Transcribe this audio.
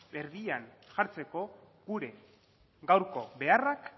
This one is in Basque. erdian jartzeko gure gaurko beharrak